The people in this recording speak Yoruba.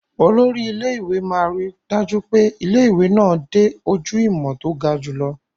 Olórí ilé-ìwé máa ríi dájú pé ilé-ìwé náà dé ojú ìmọ̀ tó ga jùlọ.